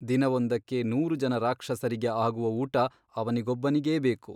ದಿನವೊಂದಕ್ಕೆ ನೂರು ಜನ ರಾಕ್ಷಸರಿಗೆ ಆಗುವ ಊಟ ಅವನಿಗೊಬ್ಬನಿಗೇ ಬೇಕು.